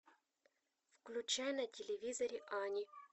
включай на телевизоре ани